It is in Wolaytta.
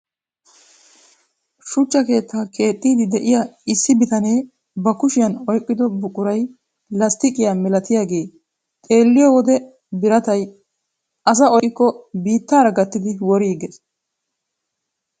Shuchcha keettaa keexxidi de'iyaa issi bitanee ba kushiyaan oyqqido buquray lasttiqiyaa milatiyaagee xeelliyoo wode biratay asaa oyqqidi biittaara gattidi woriiges.